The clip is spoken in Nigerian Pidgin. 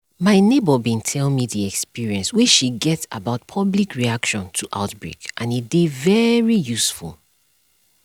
my neighbor bin tell me the experience wey she get about public reaction to outbreak and e dey very useful